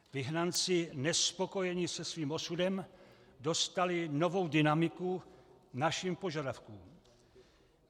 Vyhnanci nespokojení se svým osudem dostali novou dynamiku našim požadavkům.